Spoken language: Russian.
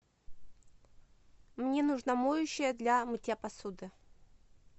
мне нужно моющее для мытья посуды